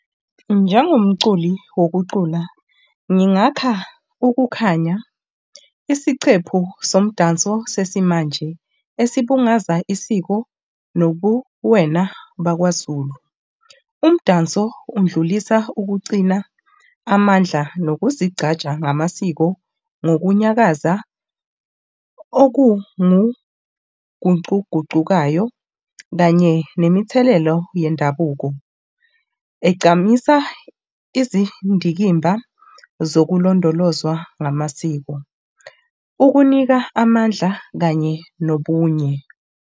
Njengo mculi wokucula, ngingakha ukukhanya, isicephu somdanso sesimanje esibungaza isiko nobuwena bakwaZulu. Umdanso undlulisa ukuqcina amandla nokuzigcaja ngamasiko nokunyakaza okungugucugucukayo kanye nemithelello yendabuko egcamisa izindikimba zokulondolozwa ngamasiko. Ukunika amandla kanye nobunye.